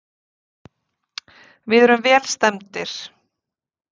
Við erum vel stemmdir.